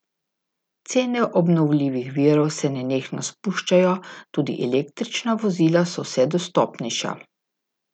Cene obnovljivih virov se nenehno spuščajo, tudi električna vozila so vse dostopnejša.